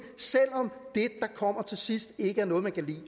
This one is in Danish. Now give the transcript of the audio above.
selv om det der kommer til sidst ikke er noget man kan lide